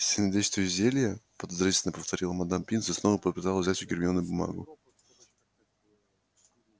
сильнодействующие зелья подозрительно повторила мадам пинс и снова попыталась взять у гермионы бумагу